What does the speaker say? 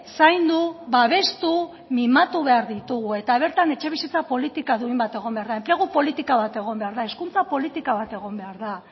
zaindu babestu mimatu behar ditugu eta bertan etxebizitza politika duin bat egon behar da enplegu politika bat egon behar da hezkuntza politika bat egon behar da